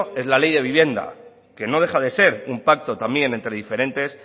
es la ley de vivienda que no deja de ser un pacto también entre diferentes